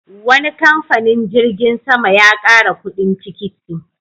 Wani kamfanin jirgin sama ya ƙara kuɗin tikiti.